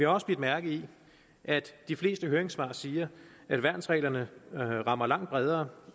også bidt mærke i at de fleste høringssvar siger at værnsreglerne rammer langt bredere